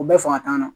U bɛɛ fanga t'an na